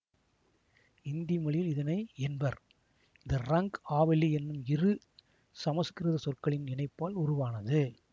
இந்தி மொழியில் இதனை என்பர் இது ரங் ஆவலி என்னும் இரு சமசுக்கிருத சொற்களின் இணைப்பால் உருவானது